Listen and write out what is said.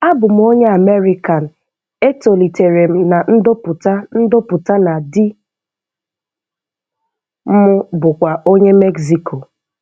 Abum onye American e tolitere m na ndoputa ndoputa na di m bụkwa onye Mexico.